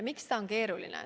Miks see on keeruline?